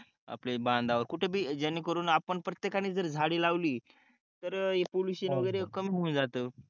आले बंधावर कुठ बी जेणे करून आपण प्रतेकणे जर झाडे लावली तर ही पॉल्युशन वागेरे कमी होऊन जात